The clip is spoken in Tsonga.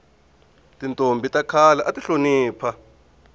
tintombhi ta khale ati hlonipha